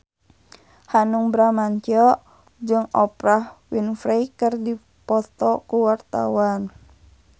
Hanung Bramantyo jeung Oprah Winfrey keur dipoto ku wartawan